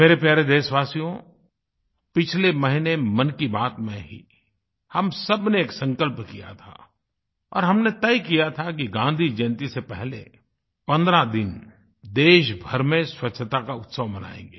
मेरे प्यारे देशवासियो पिछले महीने मन की बात में ही हम सब ने एक संकल्प किया था और हमने तय किया था कि गाँधीजयंती से पहले 15 दिन देशभर में स्वच्छता का उत्सव मनायेंगे